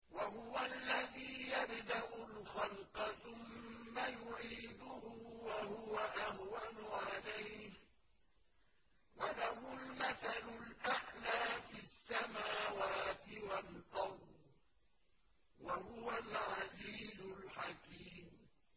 وَهُوَ الَّذِي يَبْدَأُ الْخَلْقَ ثُمَّ يُعِيدُهُ وَهُوَ أَهْوَنُ عَلَيْهِ ۚ وَلَهُ الْمَثَلُ الْأَعْلَىٰ فِي السَّمَاوَاتِ وَالْأَرْضِ ۚ وَهُوَ الْعَزِيزُ الْحَكِيمُ